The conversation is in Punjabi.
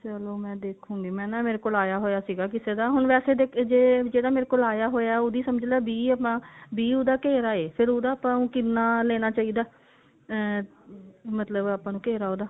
ਚਲੋ ਮੈਂ ਦੇਖੁਗੀ ਮੈਂ ਨਾ ਮੇਰੇ ਕੋਲ ਆਇਆ ਹੋਇਆ ਸੀ ਕਿਸੇ ਦਾ ਹੁਣ ਵੈਸੇ ਜੇ ਜਿਹਦਾ ਮੇਰੇ ਕੋਲ ਆਇਆ ਹੋਇਆ ਉਹਦੀ ਸਮਝਲਾਂ ਵੀਹ ਆਪਾਂ ਵੀਹ ਉਹਦਾ ਘੇਰਾ ਏ ਫੇਰ ਉਹਦਾ ਆਪਾਂ ਨੂੰ ਕਿੰਨਾ ਲੈਣਾ ਚਾਹੀਦਾ ah ਮਤਲਬ ਆਪਾਂ ਨੂੰ ਘੇਰਾ ਉਹਦਾ